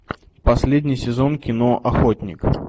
последний сезон кино охотник